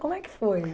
Como é que foi?